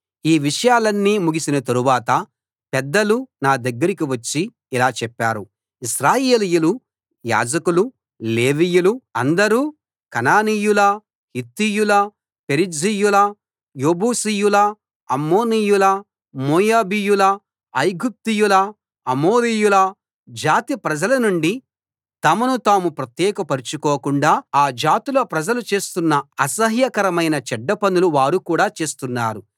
ఈ విషయాలన్నీ ముగిసిన తరువాత పెద్దలు నా దగ్గరికి వచ్చి ఇలా చెప్పారు ఇశ్రాయేలీయులు యాజకులు లేవీయులు అందరూ కనానీయుల హిత్తీయుల పెరిజ్జీయుల యెబూసీయుల అమ్మోనీయుల మోయాబీయుల ఐగుప్తీయుల అమోరీయుల జాతి ప్రజల నుండి తమను తాము ప్రత్యేకపరుచుకోకుండా ఆ జాతుల ప్రజలు చేస్తున్న అసహ్యకరమైన చెడ్డ పనులు వారు కూడా చేస్తున్నారు